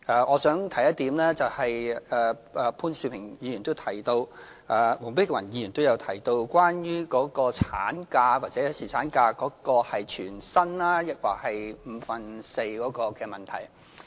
我想提一點，潘兆平議員也提到，黃碧雲議員也提到，也就是產假或侍產假是全薪抑或是五分之四的問題。